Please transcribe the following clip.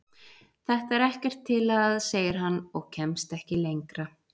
Þetta er ekkert til að. segir hann og kemst ekki lengra.